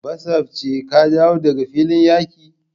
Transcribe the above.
Basafce ka dawo daga filin yaki ne?